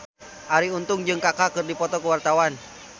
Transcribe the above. Arie Untung jeung Kaka keur dipoto ku wartawan